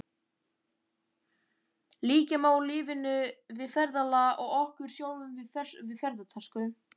Líkja má lífinu við ferðalag og okkur sjálfum við ferðatösku.